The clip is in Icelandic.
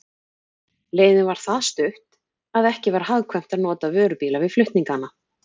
Leiðin var það stutt, að ekki var hagkvæmt að nota vörubíla við flutningana.